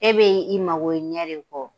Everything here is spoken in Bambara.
E bɛ i mago ɲɛ de kɔ.